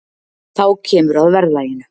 þá kemur að verðlaginu